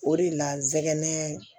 O de la n sɛgɛn